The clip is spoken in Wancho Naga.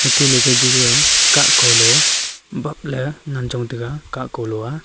tele kajuga kaa ko lo baple ngan chong taiga ka kolo aa.